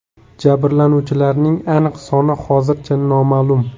Jabrlanuvchilarning aniq soni hozircha noma’lum.